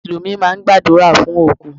Mùsùlùmí máa ń gbàdúrà fún òkú.